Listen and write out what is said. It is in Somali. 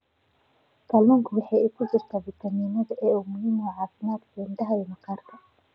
Kalluunka waxaa ku jira fitamiin A oo muhiim u ah caafimaadka indhaha iyo maqaarka.